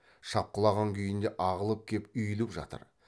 шапқылаған күйінде ағылып кеп үйіліп жатыр